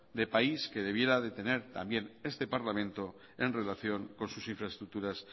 de país que debiera de tener este parlamento en relación con sus infraestructuras